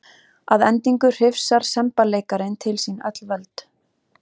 Að endingu hrifsar semballeikarinn til sín öll völd.